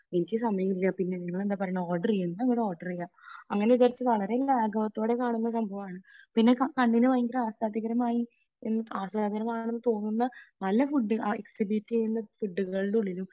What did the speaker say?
എനിക്ക് സമയമില്ല. പിന്നെ നിങ്ങളെന്താ പറയുന്നേ, ഓർഡർ ചെയ്യാം. അങ്ങനെ വിചാരിച്ച് ഓർഡർ ചെയ്യുക. അങ്ങനെ ഇതൊക്കെ വളരെ ലാഘവത്തോടെ കാണുന്ന സംഭവമാണ്. പിന്നെ കണ്ണിനു ഭയങ്കര ആസ്വാദ്യകരമായി, നല്ല ഫുഡ് എക്സിബിറ്റ് ചെയ്യുന്ന ഫുഡുകളുടെ ഉള്ളിലും